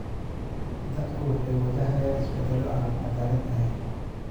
Dadku waxay wajahayaan isbedello aan cadaalad ahayn.